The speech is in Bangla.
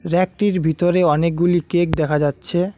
ব়্যাকটির ভিতরে অনেকগুলি কেক দেখা যাচ্ছে।